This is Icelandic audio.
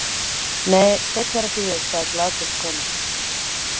Nei, Steinn er ekki við, sagði glaðbeitt kona.